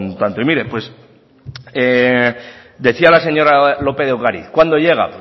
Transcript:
tanto y mire pues decía la señora lópez de ocariz cuándo llega